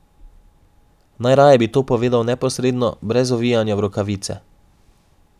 Najraje bi to povedal neposredno, brez ovijanja v rokavice.